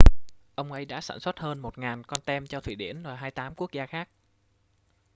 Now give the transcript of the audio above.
ông ấy đã sản xuất hơn 1.000 con tem cho thụy điển và 28 quốc gia khác